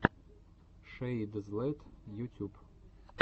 шэйдзлэт ютюб